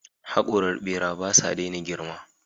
Haƙoran ɓera ba sa daina girma.